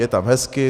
Je tam hezky.